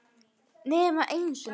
Nema einu sinni.